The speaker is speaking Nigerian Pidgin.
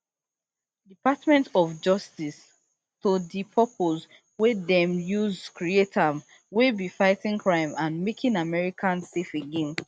[department of justice] to di purpose wey dem use create am wey be fighting crime and making america safe again